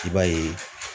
I b'a ye